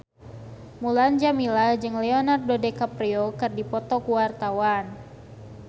Mulan Jameela jeung Leonardo DiCaprio keur dipoto ku wartawan